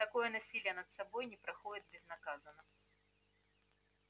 такое насилие над собой не проходит безнаказанно